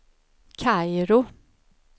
Kairo